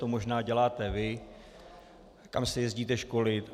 To možná děláte vy, kam se jezdíte školit.